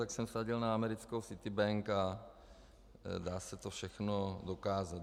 Tak jsem vsadil na americkou Citibank a dá se to všechno dokázat.